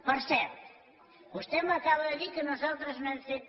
per cert vostè m’acaba de dir que nosaltres no hem fet